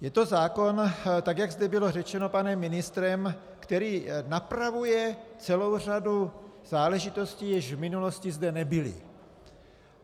Je to zákon, tak jak zde bylo řečeno panem ministrem, který napravuje celou řadu záležitostí, jež v minulosti zde nebyly.